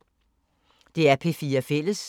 DR P4 Fælles